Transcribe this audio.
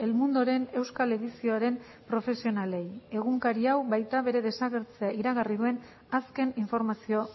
mundoren euskal edizioaren profesionalei egunkari hau baita bere desagertzea iragarri duen azken informazio